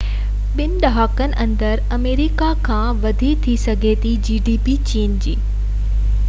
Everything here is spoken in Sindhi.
چين جي gdp ٻن ڏهاڪن اندر آمريڪا کان وڏي ٿي سگهي ٿي